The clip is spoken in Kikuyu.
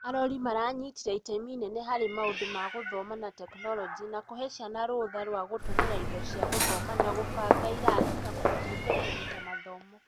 arori maranyitire itemi inene harĩ maũndũ ma gũthoma na tekinoronjĩ na kũhe ciana rũtha rwa gũtũmĩra indo cia gũthoma na gũbanga irathi, na kũmateithia kũnyita mathomo.